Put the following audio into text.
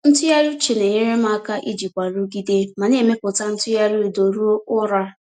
Ntụgharị uche na-enyere m aka ijikwa nrụgide ma na-emepụta ntụgharị udo ruo ụra.